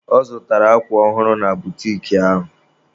Ọ zụtara akwa ọhụrụ na butiki ahụ